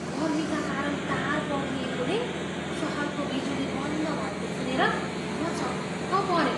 गर्मीका कारण तार पग्लिएकोले सहरको बिजुली बन्द भएको सुनेर म छक्क परेँ!